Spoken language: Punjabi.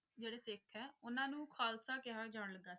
ਜਿਹੜੇ ਸਿੱਖ ਹੈ ਉਹਨਾਂ ਨੂੰ ਖ਼ਾਲਸਾ ਕਿਹਾ ਜਾਣ ਲੱਗਾ।